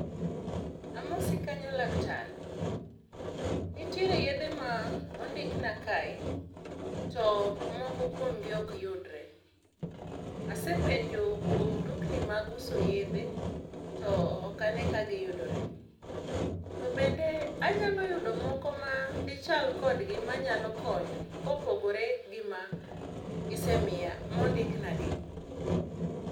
Amosi kanyo laktar, nitiere yedhe ma ondikna kae to moko kuom gi ok yudre . Asepenjo kuom dukni mag uso yedhe to ok ane ka giyudore. To bende anyalo yudo moko ma dichal kodgi manyalo konyo kopogore gi misemiya mondik na gi?